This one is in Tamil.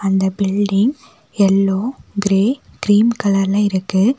அந்த பில்டிங் எல்லோ கிரே கிரீம் கலர்ல இருக்கு.